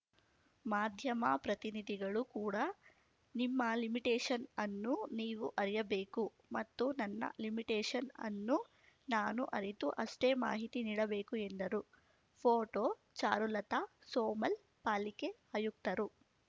ಮಾಧ್ಯಮ ಪ್ರತಿನಿಧಿಗಳು ಕೂಡ ನಿಮ್ಮ ಲಿಮಿಟೇಷನ್‌ ಅನ್ನು ನೀವು ಅರಿಯಬೇಕು ಮತ್ತು ನನ್ನ ಲಿಮಿಟೇಷನ್‌ ಅನ್ನು ನಾನು ಅರಿತು ಅಷ್ಟೇ ಮಾಹಿತಿ ನೀಡಬೇಕು ಎಂದರು ಫೋಟೋ ಚಾರುಲತಾ ಸೋಮಲ್‌ ಪಾಲಿಕೆ ಆಯುಕ್ತರು